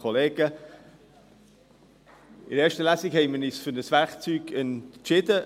Die EVP ist bereit, diesen Weg zu gehen.